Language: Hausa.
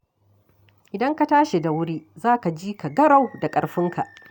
Idan ka tashi da wuri, za ka ji ka garau da ƙarfinka